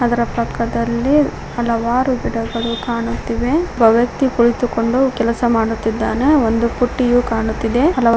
ಅದರ ಪಕ್ಕದಲ್ಲಿ ಹಲವರು ಗಿಡಗಳು ಕಾಣುತ್ತಿವೆ ಒಬ್ಬ ವ್ಯಕ್ತಿ ಕುಳಿತುಕೊಂಡು ಕೆಲಸ ಮಾಡುತ್ತಿದ್ದಾನೆ ಒಂದು ಪುಟ್ಟಿಯು ಕಾಣುತ್ತಿದೆ ಹಲವರು --